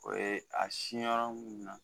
O ye a sin yɔrɔ mun na